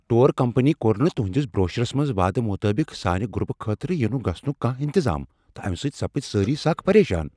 Tour company کوٚر نہٕ تہندس بروشرس منز وعدٕ مطابق سانہِ گروپہٕ خٲطرٕ یِنک گژھنک انتظام تہٕ امہِ سۭتۍ سپدۍ سٲری سخ پریشان۔